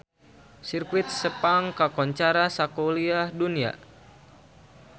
Sirkuit Sepang kakoncara sakuliah dunya